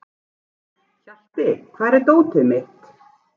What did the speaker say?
Hjalti, hvar er dótið mitt?